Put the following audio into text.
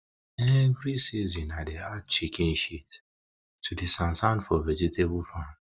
every season i dey add chicken shit to di for vegetable farm